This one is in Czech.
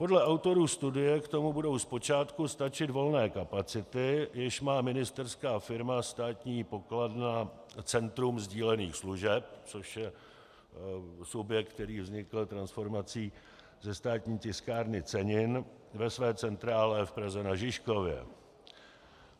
Podle autorů studie k tomu budou zpočátku stačit volné kapacity, jež má ministerská firma Státní pokladna Centrum sdílených služeb, což je subjekt, který vznikl transformací ze Státní tiskárny cenin ve své centrále v Praze na Žižkově.